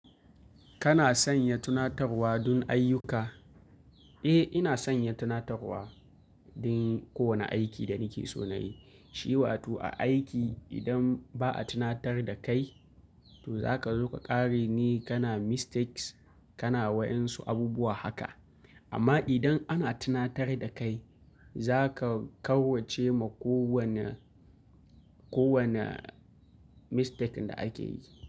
Kana sanya tunatarwa don ayyuka? Eh, ina sanya tunatarwa don kowane aiki da nike so na yi. Shi wato a aiki idan ba a tunatar da kai, to zaka zo ka ƙare ne kana mistakes, kana wayansu abubuwa haka. Amma idan ana tunatar da kai, zaka kawwace ma kowane, kowane mistake da ake yi.